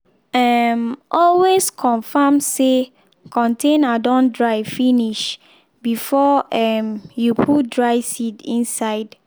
um always confirm say container don dry finish before um you put dry seed inside.